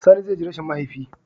Sani zai ji rashin mahaifi